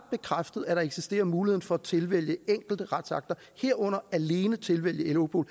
bekræftet at der eksisterer mulighed for at tilvælge enkelte retsakter herunder alene at tilvælge europol